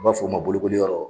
N b'a f'o ma bolikoli yɔrɔ